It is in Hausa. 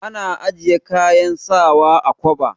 Ana ajiye kayan sawa a kwaba.